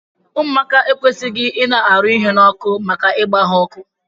Ụmụaka ekwesighi ina arụ ihe na ọkụ maka igba ya ọkụ!